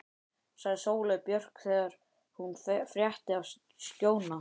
sagði Sóley Björk þegar hún frétti af Skjóna.